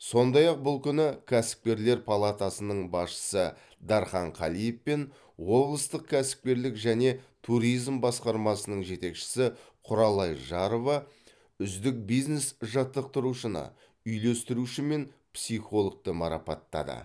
сондй ақ бұл күні кәсіпкерлер палатасының басшысы дархан қалиев пен облыстық кәсіпкерлік және туризм басқармасының жетекшісі құралай жарова үздік бизнес жаттықтырушыны үйлестіруші мен психологты марапаттады